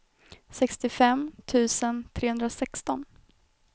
sextiofem tusen trehundrasexton